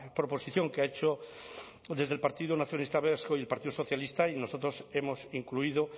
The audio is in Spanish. proposición que ha hecho desde el partido nacionalista vasco y el partido socialista y nosotros hemos incluido